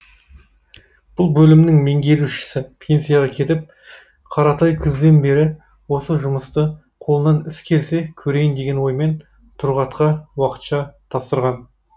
бұл бөлімнің меңгерушісі пенсияға кетіп қаратай күзден бері осы жұмысты қолынан іс келсе көрейін деген оймен тұрғатқа уақытша тапсырған